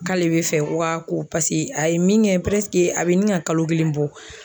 K'ale bɛ fɛ ko a ko pase a ye min kɛ a bɛ ɲin ŋa kalo kelen bɔ